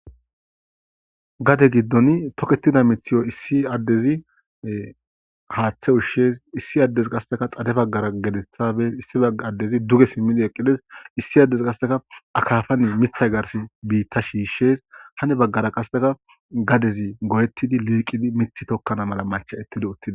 Gade gidon tokketida miththaza issi addezi haththe ushshes issi addey qaseka xade baggara gedettha bees issi bagga addezi duge simidi eqides issi qaseka akkafara miththa garsi biitta shishes hani bagara qasseka gaddezi goyettidi liqidi miththi tokkana mala machcha7eti uttides.